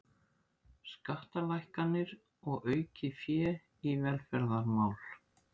Skattalækkanir og aukið fé í velferðarmál